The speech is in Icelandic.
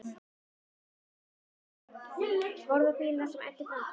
Horfði á bílana sem æddu framhjá.